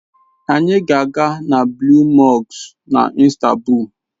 Anyị ga-aga na Blue Mosque na Istanbul.